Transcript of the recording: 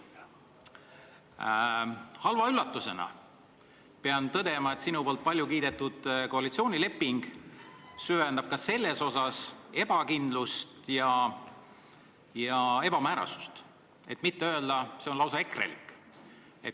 Pean tõdema, et halva üllatusena süvendab sinu poolt paljukiidetud koalitsioonileping ka selles osas ebakindlust ja ebamäärasust, et mitte öelda, et see on lausa EKRE-lik.